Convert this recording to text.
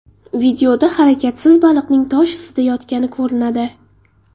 Videoda harakatsiz baliqning tosh ustida yotgani ko‘rinadi.